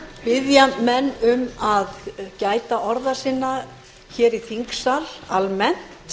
biðja menn um að gæta orða sinna í þingsal almennt